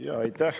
Aitäh!